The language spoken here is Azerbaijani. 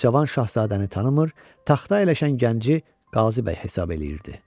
Amma cavan şahzadəni tanımır, taxta əyləşən gənci Qazibəy hesab eləyirdi.